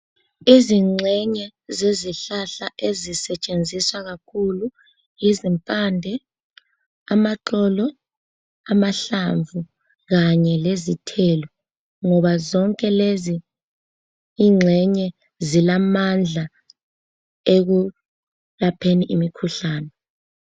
Izingxenye zezihlahla ezisetshenziswa kakhulu yizimpande, amaxolo, amahlamvu kanye lezithelo ngoba zonke lezi ingxenye zilamandla ekulapheni imikhuhlane.